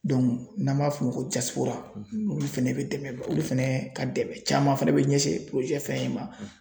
n'an m'a f'o ko olu fɛnɛ bɛ dɛmɛ olu fɛnɛ ka dɛmɛ caman fɛnɛ bɛ ɲɛsin fɛn in ma.